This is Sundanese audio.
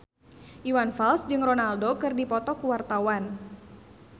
Iwan Fals jeung Ronaldo keur dipoto ku wartawan